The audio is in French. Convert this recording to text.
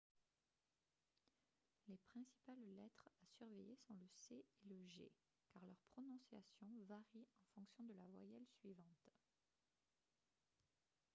les principales lettres à surveiller sont le c et le g car leur prononciation varie en fonction de la voyelle suivante